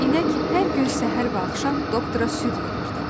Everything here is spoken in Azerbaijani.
İnək hər gün səhər və axşam doktora süd verirdi.